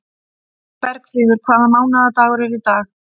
Bergfríður, hvaða mánaðardagur er í dag?